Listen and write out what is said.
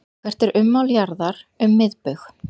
Hvert er ummál jarðar um miðbaug?